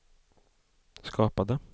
skapade